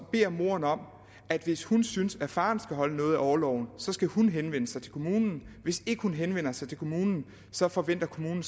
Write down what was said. beder moderen om at hvis hun synes at faderen skal holde noget af orloven skal hun henvende sig til kommunen hvis ikke hun henvender sig til kommunen så forventer kommunen